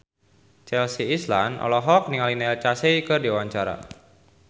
Chelsea Islan olohok ningali Neil Casey keur diwawancara